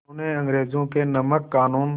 उन्होंने अंग्रेज़ों के नमक क़ानून